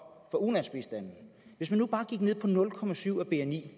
for ulandsbistanden hvis man nu bare gik ned på nul procent af bni